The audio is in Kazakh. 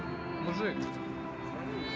мужик